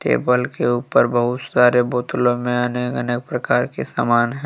Table के ऊपर बहुत सारे बोतलों में अनेक अनेक प्रकार के सामान हैं।